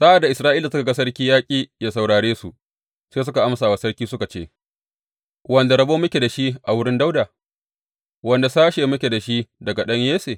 Sa’ad da Isra’ila suka ga sarki ya ƙi yă saurare su, sai suka amsa wa sarki, suka ce, Wanda rabo muke da shi a wurin Dawuda, wanda sashe muke da shi daga ɗan Yesse?